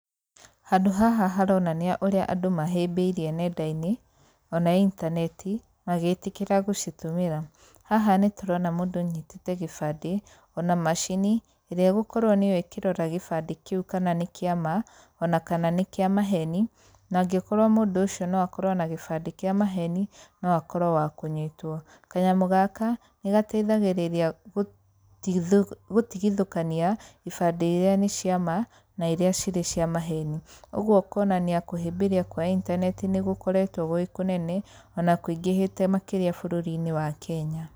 Handũ haha haronania ũrĩa andũ mahĩmbĩirie nenda-inĩ ona intaneti magĩtĩkĩra gũcitũmĩra. Haha nĩ tũrona mũndũ unyitĩte gĩbandĩ, ona macini ĩrĩa ĩgũkorwo nĩyo ĩkĩrora gĩbandĩ kĩu kana nĩ kĩama ona kana nĩ kĩa maheni. Na angĩkorwo mũndũ ũcio no akorwo na gĩbandĩ kĩa maheni no akorwo wa kũnyitwo. Kanyamũ gaka, nĩ gateithagĩrĩria gũtigithũkania ibande irĩa nĩ cia ma na irĩa cirĩ cirĩ cia maheni. Oguo ũkonania kũhĩmbĩria kwa intaneti nĩ gũkoretwo gwĩ kũnene ona kũingĩhĩte makĩria bũrũri-inĩ wa Kenya.